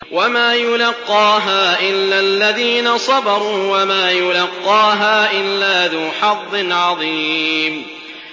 وَمَا يُلَقَّاهَا إِلَّا الَّذِينَ صَبَرُوا وَمَا يُلَقَّاهَا إِلَّا ذُو حَظٍّ عَظِيمٍ